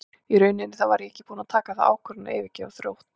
Í rauninni þá var ég ekki búinn að taka þá ákvörðun að yfirgefa Þrótt.